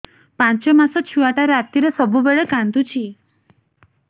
ପାଞ୍ଚ ମାସ ଛୁଆଟା ରାତିରେ ସବୁବେଳେ କାନ୍ଦୁଚି